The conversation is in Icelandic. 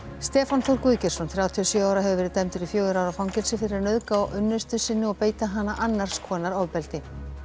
Stefán Þór Guðgeirsson þrjátíu og sjö ára hefur verið dæmdur í fjögurra ára fangelsi fyrir að nauðga unnustu sinni og beita hana annars konar ofbeldi